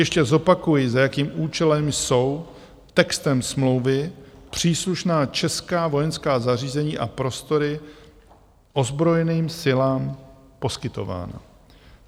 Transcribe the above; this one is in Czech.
Ještě zopakuji, za jakým účelem jsou textem smlouvy příslušná česká vojenská zařízení a prostory ozbrojeným silám poskytována.